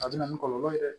A bɛ na ni kɔlɔlɔ ye dɛ